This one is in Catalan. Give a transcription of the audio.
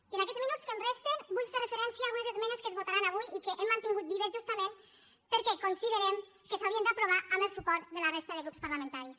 i en aquests minuts que em resten vull fer una referència a algunes esmenes que es votaran avui i que hem mantingut vives justament perquè considerem que s’haurien d’aprovar amb el suport de la resta de grups parlamentaris